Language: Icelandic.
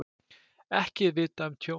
Ekki er vitað um tjón.